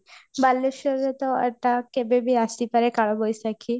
ବାଲେଶ୍ୱରରେ ତ ଏଇଟା କେବେ ବି ଆସି ପାରେ କାଳ ବୈଶାଖୀ